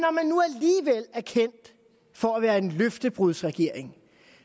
er kendt for at være en løftebrudsregering